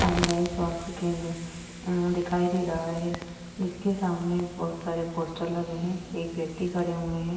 सामुदायिक स्वास्थ केंद्र दिखाई दे रहा है। जिसके सामने बहोत सारे पोस्टर लगे हैं। एक व्यक्ति खड़े हुए है।